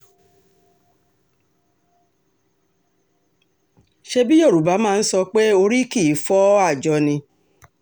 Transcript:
ṣebí yorùbá máa ń sọ pé orí kì í fọ́ àjọ ni